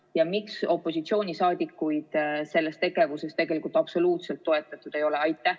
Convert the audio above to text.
Ja miks opositsiooniliikmeid selles tegevuses tegelikult üldse toetatud ei ole?